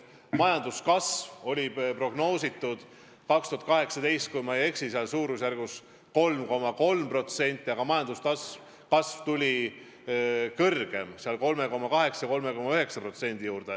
Majanduskasvuks 2018 prognoositi, kui ma ei eksi, suurusjärgus 3,3%, aga majanduskasv tuli kõrgem, 3,8–3,9%.